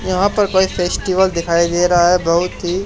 यहां पर कोई फेस्टिवल दिखाई दे रहा है। बहुत ही--